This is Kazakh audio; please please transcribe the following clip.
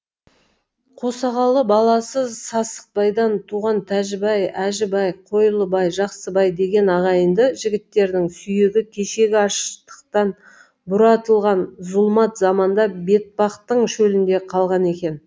қосағалы баласы сасықбайдан туған тәжібай әжібай қойлыбай жақсыбай деген ағайынды жігіттердің сүйегі кешегі аштықтан бұратылған зұлмат заманда бетпақтың шөлінде қалған екен